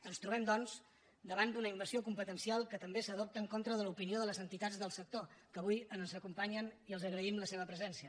ens trobem doncs davant d’una invasió competencial que també s’adopta en contra de l’opinió de les entitats del sector que avui ens acompanyen i els agraïm la seva presència